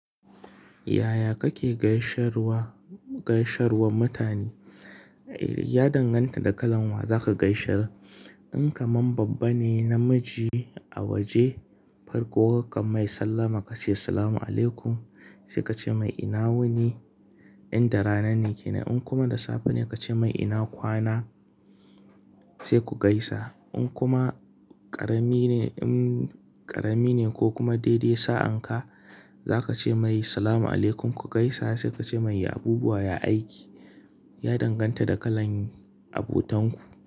Yaya kake gaishewar, gaishewar mutane? Ya danganta da kalan wa zaka gaishe. In kamun babba ne namiji a waje farko kakan mai sallama kace "Salam alaikum" sai kace mai "ina wuni" inda rana ne kenan. In kuma da safe ne kace mai "ina kwana" sai ku gaisa. In kuma ƙarami ne, ƙarami ne ko kuma daidai sa'anka zaka ce mai "Salam alaikum ku gaisa" sai kace mai "Yi abubuwa, yi aiki". Ya danganta da kalan abotanku.